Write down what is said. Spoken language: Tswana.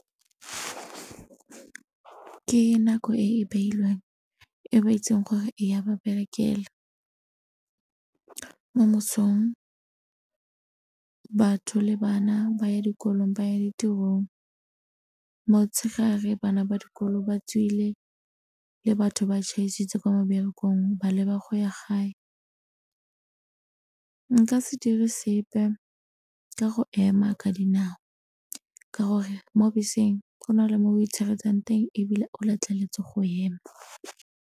Ke nako e e beilweng e ba itseng gore e ya ba berekela. Mo mosong batho le bana ba ya dikolong ba ya ditirong, motshegare bana ba dikolo ba tswile le batho ba tšhaisitse ko meberekong ba leba go ya gae. Nka se dire sepe ka go ema ka dinao ka gore mo beseng go na le mo itshireletsang teng ebile o letleletswe go ema.